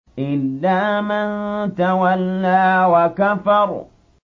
إِلَّا مَن تَوَلَّىٰ وَكَفَرَ